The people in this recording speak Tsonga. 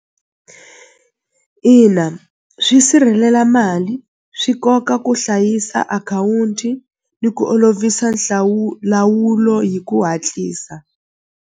Ina swi sirhelela mali swi koka ku hlayisa akhawunti ni ku olovisa lawulo hi ku hatlisa.